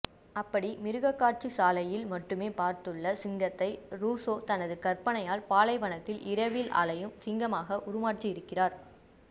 அப்படி மிருகக் காட்சி சாலையில் மட்டுமே பார்த்துள்ள சிங்கத்தை ரூசோ தனது கற்பனையால் பாலைவனத்தில் இரவில் அலையும் சிங்கமாக உருமாற்றியிருக்கிறார்